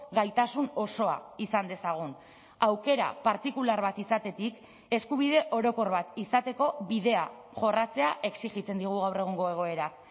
gaitasun osoa izan dezagun aukera partikular bat izatetik eskubide orokor bat izateko bidea jorratzea exijitzen digu gaur egungo egoerak